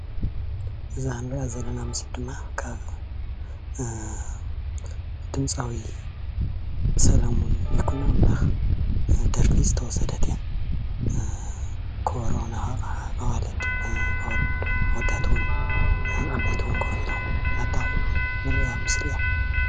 እዛ እንሪኣ ዘለና ምስሊ ድማ ካብ ድምፃዊ ሰለሙን ይኩኖ ኣምላክ ዝተወሰደት እያ፣ ከበሮ እናወቕዓ ኣዋልድን ኣወዳት እውን ኮፍ ኢሎም እናጣቕዑ ዘርኢ ምስሊ እዩ፡፡